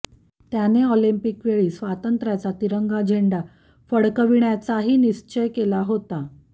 त्याने ऑलिंपिक वेळी स्वातंत्र्याचा तिरंगी झेंडा फडकविण्याचाही निश्चय केला होता